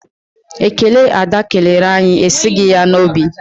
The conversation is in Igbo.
Ekele Ada kelere anyị esighị ya n'obi.